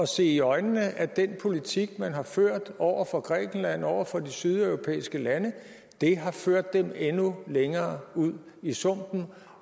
se i øjnene at den politik man har ført over for grækenland og over for de sydeuropæiske lande har ført dem endnu længere ud i sumpen